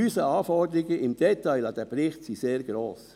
Unsere Anforderungen im Detail an diesen Bericht sind sehr gross.